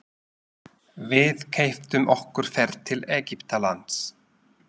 Við keyptum okkur ferð til Egyptalands.